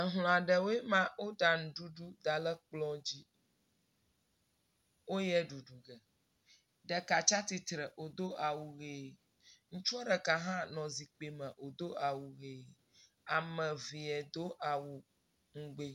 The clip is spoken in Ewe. Hlɔ aɖewoe maa woɖa nuɖuɖu da ɖe kplɔa dzi, woyea dudu ge. Ɖeka tsia tsitre wodo awu ʋɛ. Ŋutsua ɖeka hã nɔ zikpui me wodo awu ʋɛ. Ame eve do awu ŋugbi……